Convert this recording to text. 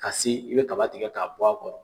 Kasi i bɛ kaba tigɛ k'a bɔ a kɔrɔ